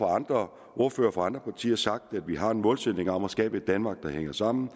andre ordførere fra andre partier sagt at vi har en målsætning om at skabe et danmark der hænger sammen og